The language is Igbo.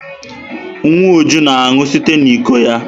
Nwa Uju na-aṅụ site n'iko ya.